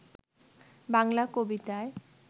বাংলা কবিতায়